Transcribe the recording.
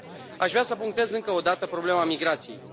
Aș vrea să punctez încă o dată problema migrației.